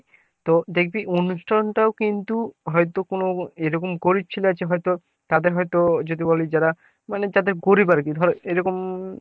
তো দেখবি অনুষ্ঠান টা ও কিন্তু হয়তো কোনো এরকম গরিব ছেলে আছে হয়তো তাদের হয়তো যদি বলি তারা মানে তাদের গরিব আরকি ধরে এরকম